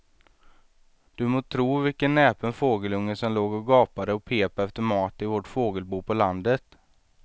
Du må tro vilken näpen fågelunge som låg och gapade och pep efter mat i vårt fågelbo på landet.